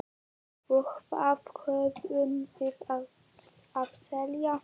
Og hvað höfum við að selja?